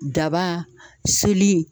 Daba seli